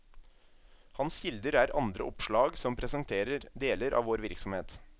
Hans kilder er andre oppslag som presenterer deler av vår virksomhet.